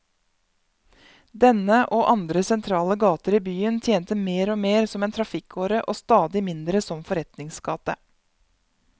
Denne, og andre sentrale gater i byen, tjente mer og mer som en trafikkåre og stadig mindre som forretningsgate.